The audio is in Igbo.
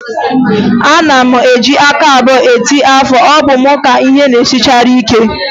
Ana m eji aka abụọ eti ọfọ, ọ bụ m ka ihe na-esinarịchara ike?